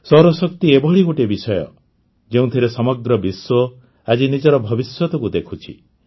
ସୌରଶକ୍ତି ଏଭଳି ଗୋଟିଏ ବିଷୟ ଯେଉଁଥିରେ ସମଗ୍ର ବିଶ୍ୱ ଆଜି ନିଜର ଭବିଷ୍ୟତକୁ ଦେଖୁଛି